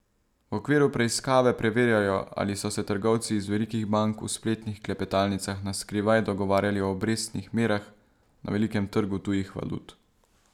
V okviru preiskave preverjajo, ali so se trgovci iz velikih bank v spletnih klepetalnicah na skrivaj dogovarjali o obrestnih merah na velikem trgu tujih valut.